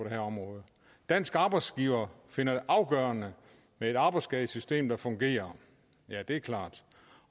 her område danske arbejdsgivere finder det afgørende med et arbejdsskadesystem der fungerer ja det er klart